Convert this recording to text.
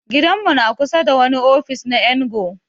Gidan mu na kusa da wani ofis na NGO.